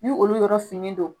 Ni olu yɔrɔ finen don